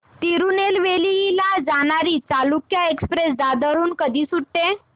तिरूनेलवेली ला जाणारी चालुक्य एक्सप्रेस दादर हून कधी सुटते